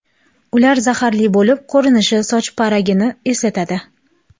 Ular zaharli bo‘lib, ko‘rinishi soch parigini eslatadi.